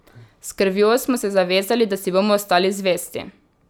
S krvjo smo se zavezali, da si bomo ostali zvesti.